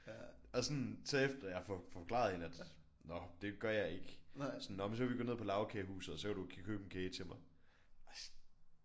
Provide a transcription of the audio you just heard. Og sådan så efter jeg får forklaret hende at nå det gør jeg ikke sådan nå men så kan vi gå ned på Lagkagehuset og så kan du købe en kage til mig og sådan